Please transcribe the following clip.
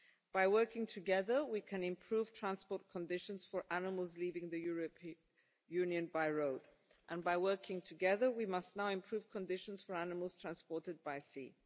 By working together, we can improve transport conditions for animals leaving the European Union by road, and by working together, we must now improve conditions for animals transported by sea.